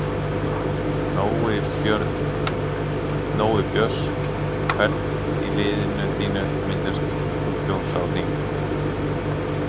Nói Björns Hvern í liðinu þínu myndir þú kjósa á þing?